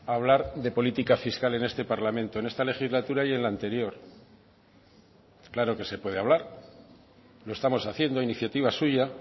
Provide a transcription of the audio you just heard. a hablar de política fiscal en este parlamento en esta legislatura y en la anterior claro que se puede hablar lo estamos haciendo iniciativa suya